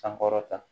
Sankɔrɔta